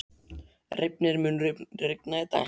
Reifnir, mun rigna í dag?